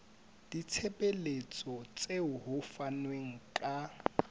ditshebeletso tseo ho fanweng ka